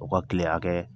O ka kile hakɛ